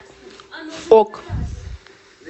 ок